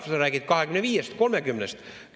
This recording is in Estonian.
Jah, sa räägid 25-st või 30-st.